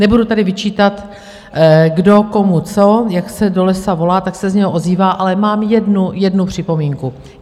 Nebudu tady vyčítat, kdo komu co - jak se do lesa volá, tak se z něho ozývá - ale mám jednu připomínku.